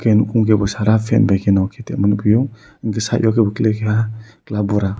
bufung ke bo sada fat by nok ke tebo nugfio site o ke bo fela ke bura.